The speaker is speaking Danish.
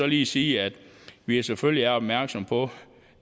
lige sige at vi selvfølgelig er opmærksomme på